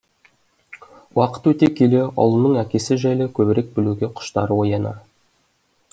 уақыт өте келе ұлының әкесі жайлы көбірек білуге құштары оянар